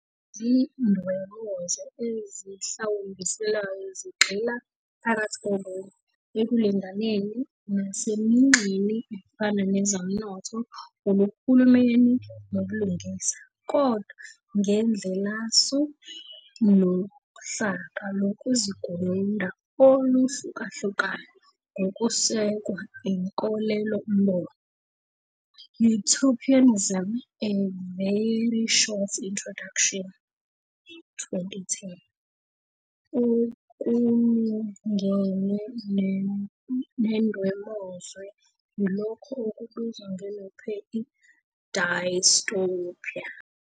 Izindwemozwe ezihlawumbiselwayo zigxila -phakathi kokunye-ekulinganeni, naseminxeni efana nezomnotho, uhulumeni nobulungisa, kodwa ngendlelasu nohlaka lokuzigununda oluhlukahlukayo ngokusekwa inkolelombono. "Utopianism- A very short introduction", 2010, Okulungene nendwemozwe yilokho okubizwa ngobuNuphe ", dystopia.